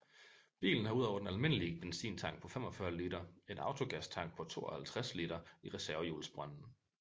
Bilen har udover den almindelige benzintank på 45 liter en autogastank på 52 liter i reservehjulsbrønden